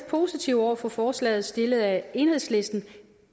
positive over for forslaget stillet af enhedslisten